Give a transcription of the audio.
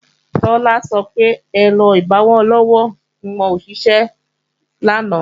Tọ́lá sọ pé èrò igbowó-ọlọ́wọ́ wọn ò ṣiṣẹ́ lánàá